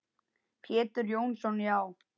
Pétur Jónsson Já.